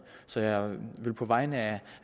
så jeg vil på vegne af